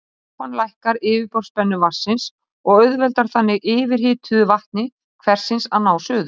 Sápan lækkar yfirborðsspennu vatnsins og auðveldar þannig yfirhituðu vatni hversins að ná suðu.